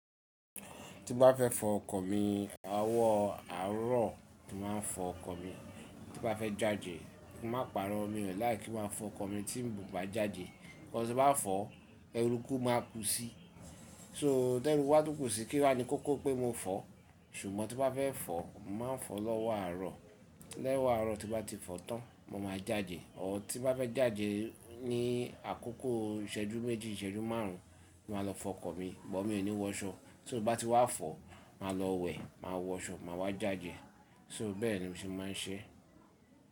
Tí bá fẹ́ fọ ọkọ̀ mi, owọ àárọ̀ ni màá n fọ ọkọ̀ mi. Tí bá fẹ́ jáde, ki má parọ́, mi ò like kí má fọ ọkọ̀ mi tí un bá jáde. Enu tí n bá fọ́, erúkú máa kú sí. So terúku bá tún kù sí, kí wá ni kókó pé mo fọ̀. Ṣùgbọ́n tí bá fẹ́ fọ̀, màá fọ̀ lọ́wọ́ àárọ̀. Lowọ́ àárọ̀ tí bá ti fọ̀ tán, mo máa jáde. Ọ tí bá fẹ́ jáde ní àkókò ìṣẹ́jú méjì, ìṣẹ́jú márùn ún, màá lọ fọ ọkọ̀ mi, bọ̀ mí ò ní wọṣọ. So, n bá ti wá fọ̀, màá lọ wẹ̀, màá wọṣọ, màá wá jáde. So bẹ́ẹ̀ ni mo se máa ń ṣe.